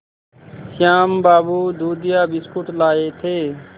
श्याम बाबू दूधिया बिस्कुट लाए थे